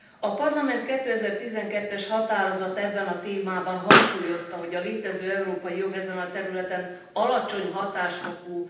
A Parlament 2012 es határozata ebben a témában hangsúlyozta, hogy a létező európai jog ezen a területen alacsony hatásfokú.